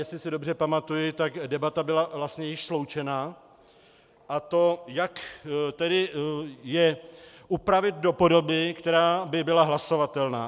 Jestli si dobře pamatuji, tak debata byla vlastně již sloučená, a to jak tedy je upravit do podoby, která by byla hlasovatelná.